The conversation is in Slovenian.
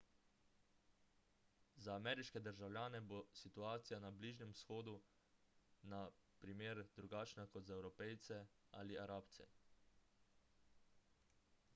za ameriške državljane bo situacija na bližnjem vzhodu na primer drugačna kot za evropejce ali arabce